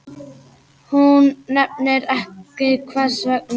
Hún nefnir ekki hvers vegna.